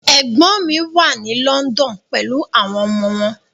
Ẹ̀gbọ́n mi wà ní London pelu àwọn ọmọ wọn.